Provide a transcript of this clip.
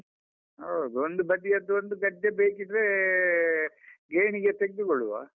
ಹೌದು, ಒಂದು ಬದಿಯದ್ದು ಒಂದು ಗದ್ದೆ ಬೇಕಿದ್ರೆ ಗೇಣಿಗೆ ತೆಗ್ದುಕೊಳ್ಳುವ.